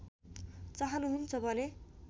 चाहनुहुन्छ भने